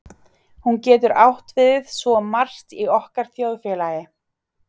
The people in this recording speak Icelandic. Hún getur átt við svo margt í okkar þjóðfélagi.